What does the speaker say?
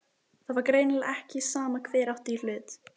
Það var greinilega ekki sama hver átti í hlut.